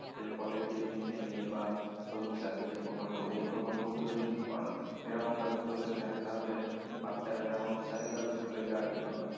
এর ফলে এই যে mid day meal বা সবুজ সাথি যে প্রকল্প এই প্রকল্পগুলো যদি এরকমভাবে চলতে থাকে তাহলে বাচ্চারা যেমন উৎসাহিত হবে school এ যাওয়ার জন্য